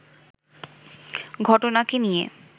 ঘটনাকে নিয়ে